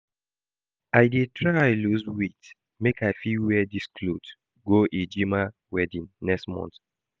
I dey try lose weight make I fit wear this cloth go Ejima wedding next month